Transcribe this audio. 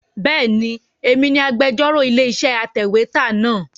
Bẹ́ẹ̀ni, èmi ni agbẹ́jọ́rò ilé-iṣẹ́ atẹ̀wétà náà.